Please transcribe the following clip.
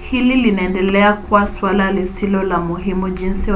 hili linaendelea kuwa suala lisilo la muhimu jinsi